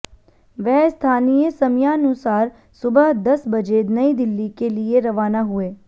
वह स्थानीय समयानुसार सुबह दस बजे नई दिल्ली के लिए रवाना हुए